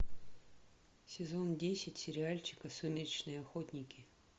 сезон десять сериальчика сумеречные охотники